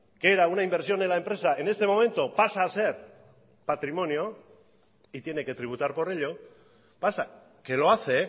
que era una inversión en la empresa en este momento pasa a ser patrimonio y tiene que tributar por ello pasa que lo hace